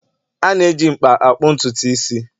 A na-eji mkpa akpụ ntutu isi